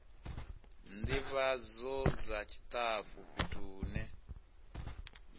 ndivhadzo dza tshitafu fhethu hune